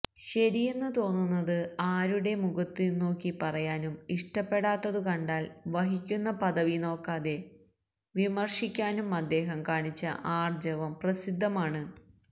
ശരിയെന്നു തോന്നുന്നത് ആരുടെ മുഖത്തുനോക്കി പറയാനും ഇഷ്ടപ്പെടാത്തതു കണ്ടാല് വഹിക്കുന്ന പദവി നോക്കാതെ വിമര്ശിക്കാനും അദ്ദേഹം കാണിച്ച ആര്ജവം പ്രസിദ്ധമാണ്